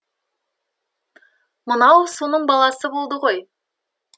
мынау соның баласы болды ғой